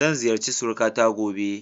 Zan ziyarci surikata gobe.